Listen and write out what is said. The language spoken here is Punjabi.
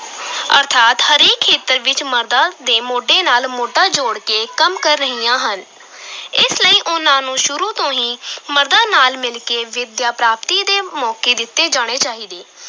ਅਰਥਾਤ ਹਰੇਕ ਖੇਤਰ ਵਿਚ ਮਰਦਾਂ ਦੇ ਮੋਢੇ ਨਾਲ ਮੋਢਾ ਜੋੜ ਕੇ ਕੰਮ ਕਰ ਰਹੀਆਂ ਹਨ ਇਸ ਲਈ ਉਨ੍ਹਾਂ ਨੂੰ ਸ਼ੁਰੂ ਤੋਂ ਹੀ ਮਰਦਾਂ ਨਾਲ ਮਿਲ ਕੇ ਵਿੱਦਿਆ-ਪ੍ਰਾਪਤੀ ਦੇ ਮੌਕੇ ਦਿੱਤੇ ਜਾਣੇ ਚਾਹੀਦੇ।